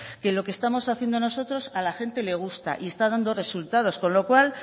que lo que estamos haciendo nosotros a la gente le gusta y está dando resultados con lo cual